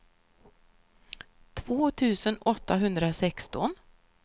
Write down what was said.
två tusen åttahundrasexton